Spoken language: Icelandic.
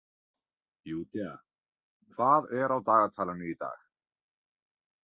Júdea, hvað er á dagatalinu í dag?